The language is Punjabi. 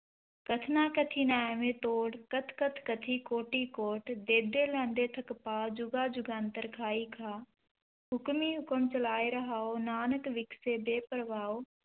ਕਥਨਾ ਕਥੀ ਨ ਆਵੈ ਤੋਟਿ, ਕਥਿ ਕਥਿ ਕਥੀ ਕੋਟੀ ਕੋਟਿ, ਦੇਦੇ ਲੈਦੇ ਥਕਿ ਪਾਹਿ, ਜੁਗਾ ਜੁਗੰਤਰਿ ਖਾਹੀ ਖਾਹਿ, ਹੁਕਮੀ ਹੁਕਮੁ ਚਲਾਏ ਰਾਹੁ, ਨਾਨਕ ਵਿਗਸੈ ਵੇਪਰਵਾਹੁ,